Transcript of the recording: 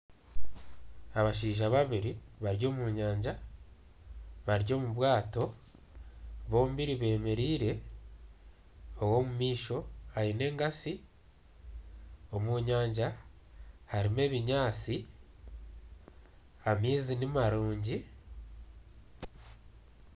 Abashaija babiri bari omu nyanja, bari omu bwato bombiri bemereire. Ow'omu maisho aine enkasi. Omu nyanja harimu ebinyaatsi, amaizi nimarungi.